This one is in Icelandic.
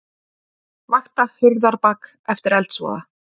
Vakta Hurðarbak eftir eldsvoða